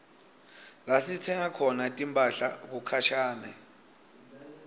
lasitsenga khona timphahla kukhashane